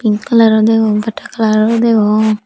colour ro degong pata colour or degong.